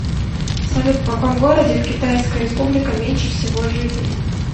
салют в каком городе в китайская республика меньше всего жителей